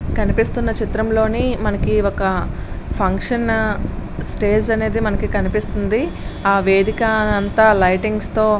కనిపిస్తున్న చిత్రంలో మనకి ఒక ఫంక్షన్ స్టేజ్ అనేది కనిపిస్తుంది. ఆ వేదిక అంతా లైటింగ్స్ తొ --